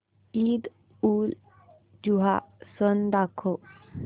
ईदउलजुहा सण दाखव